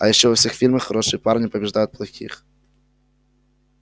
а ещё во всех фильмах хорошие парни побеждают плохих